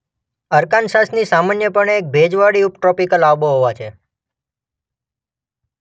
અરકાનસાસની સામાન્યપણે એક ભેજવાળી ઉપટ્રોપિકલ આબોહવા છે